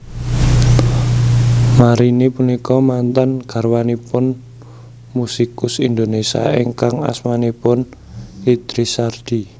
Marini punika mantan garwanipun musikus Indonésia ingkang asmanipun Idris Sardi